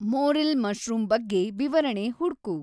morel mushroom ಬಗ್ಗೆ ವಿವರಣೆ ಹುಡ್ಕು